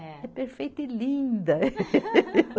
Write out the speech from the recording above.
É perfeita e linda.